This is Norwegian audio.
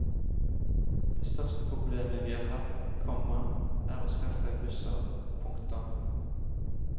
Det største problemet vi har hatt, komma er å skaffe busser. punktum